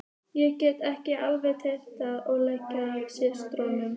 Ég gekk til allra verka og lærði mikið af systrunum.